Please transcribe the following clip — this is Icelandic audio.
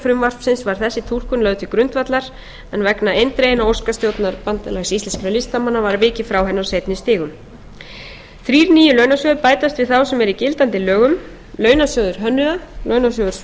frumvarpsins var þessi túlkun lögð til grundvallar en vegna eindreginna óska stjórnar bandalags íslenskra listamanna var vikið frá henni á seinni stigum þrír nýir launasjóðir bætast við þá sem eru í gildandi lögum launasjóður hönnuða launasjóður sviðslistafólk og